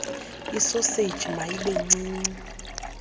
isoseji mayibe ncinci